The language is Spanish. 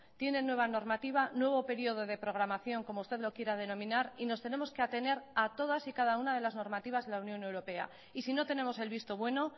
tienen nueva normativa nuevo periodo de programación como usted lo quiera denominar y nos tenemos que atener a todas y cada una de las normativas de la unión europea y si no tenemos el visto bueno